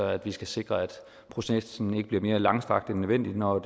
at vi skal sikre at processen ikke bliver mere langstrakt end nødvendigt når